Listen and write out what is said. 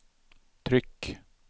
tryck